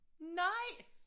Nej